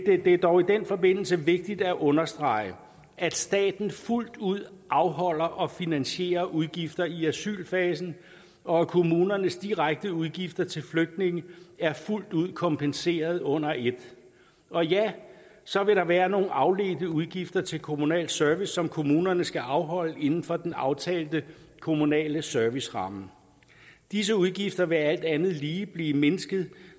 er dog i den forbindelse vigtigt at understrege at staten fuldt ud afholder og finansierer udgifter i asylfasen og at kommunernes direkte udgifter til flygtninge er fuldt ud kompenseret under et og ja så vil der være nogle afledte udgifter til kommunal service som kommunerne skal afholde inden for den aftalte kommunale serviceramme disse udgifter vil alt andet lige blive mindsket